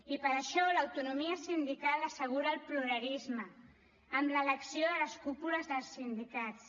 i per això l’autonomia sindical assegura el pluralisme amb l’elecció de les cúpules dels sindicats